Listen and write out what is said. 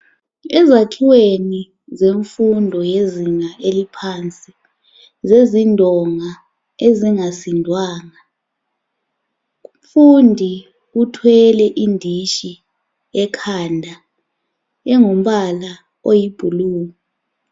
Ezakhiweni zemfundo yezinga eliphansi ,zezindonga ezingasindwanga. Umfundi uthwele indishi ekhanda engumbala oyiblue.